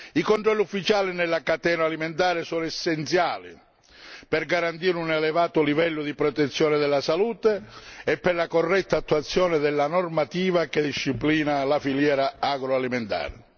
I controlli ufficiali nella catena alimentare sono essenziali per garantire un elevato livello di protezione della salute e per la corretta attuazione della normativa che disciplina la filiera agroalimentare.